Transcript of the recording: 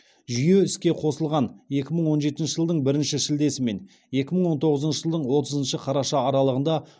жүйе іске қосылған екі мың он жетінші жылдың бірінші шілдесі мен екі мың он тоғызыншы жылдың отызыншы қараша аралығында